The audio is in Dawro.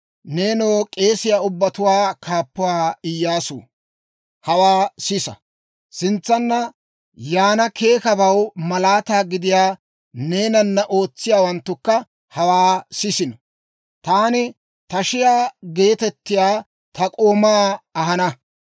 « ‹Nenoo k'eesiyaa ubbatuwaa kaappuwaa Iyyaasuu, hawaa sisa! Sintsanna yaana keekabaw malaataa gidiyaa neenana ootsiyaawanttukka hawaa sisino! Taani Tashiyaa geetettiyaa ta k'oomaa ahana.